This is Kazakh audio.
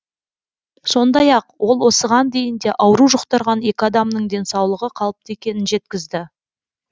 сондай ақ ол осыған дейін де ауру жұқтырған екі адамның денсаулығы қалыпты екенін жеткізді